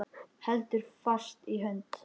Heldur fast í hönd hans.